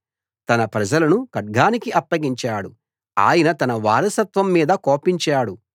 తన ప్రజలను ఖడ్గానికి అప్పగించాడు ఆయన తన వారసత్వం మీద కోపించాడు